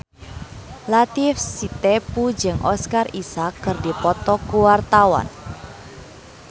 Latief Sitepu jeung Oscar Isaac keur dipoto ku wartawan